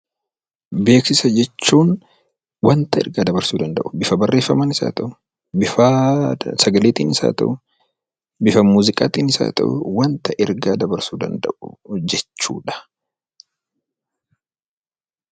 Beeksisa jechuun wanta ergaa dabarsuu danda'u, bifa barreeffamaanis haa ta'uu, bifa sagaleetiinis haa ta'uu, bifa muuziqaatiinis haa kennu, waanta ergaa dabarsuu danda'u jechuudha.